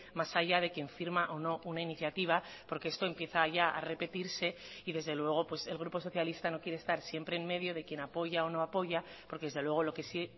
más allá de quien firma o no una iniciativa porque esto empieza ya a repetirse y desde luego el grupo socialista no quiere estar siempre en medio de quien apoya o no apoya porque desde luego lo que sí